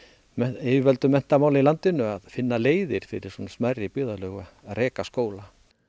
yfirvöldum menntamála í landinu að finna leiðir fyrir smærri byggðalög að reka skóla